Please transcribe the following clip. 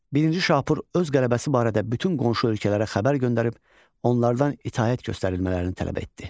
Birinci Şapur öz qələbəsi barədə bütün qonşu ölkələrə xəbər göndərib, onlardan itaət göstərilmələrini tələb etdi.